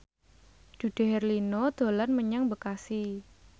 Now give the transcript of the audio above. Dude Herlino dolan menyang Bekasi